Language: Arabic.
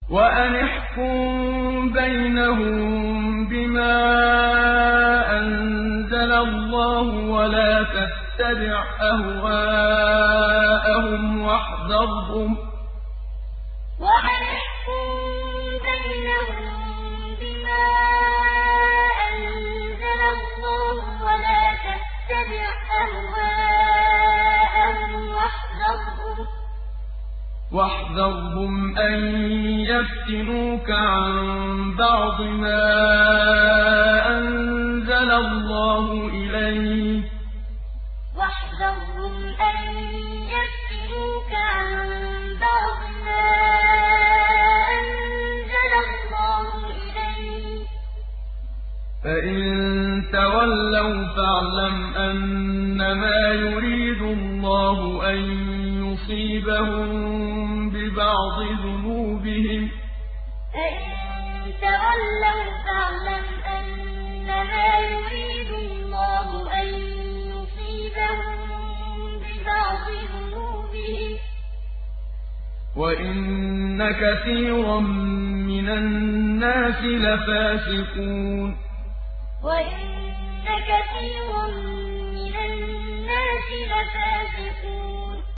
وَأَنِ احْكُم بَيْنَهُم بِمَا أَنزَلَ اللَّهُ وَلَا تَتَّبِعْ أَهْوَاءَهُمْ وَاحْذَرْهُمْ أَن يَفْتِنُوكَ عَن بَعْضِ مَا أَنزَلَ اللَّهُ إِلَيْكَ ۖ فَإِن تَوَلَّوْا فَاعْلَمْ أَنَّمَا يُرِيدُ اللَّهُ أَن يُصِيبَهُم بِبَعْضِ ذُنُوبِهِمْ ۗ وَإِنَّ كَثِيرًا مِّنَ النَّاسِ لَفَاسِقُونَ وَأَنِ احْكُم بَيْنَهُم بِمَا أَنزَلَ اللَّهُ وَلَا تَتَّبِعْ أَهْوَاءَهُمْ وَاحْذَرْهُمْ أَن يَفْتِنُوكَ عَن بَعْضِ مَا أَنزَلَ اللَّهُ إِلَيْكَ ۖ فَإِن تَوَلَّوْا فَاعْلَمْ أَنَّمَا يُرِيدُ اللَّهُ أَن يُصِيبَهُم بِبَعْضِ ذُنُوبِهِمْ ۗ وَإِنَّ كَثِيرًا مِّنَ النَّاسِ لَفَاسِقُونَ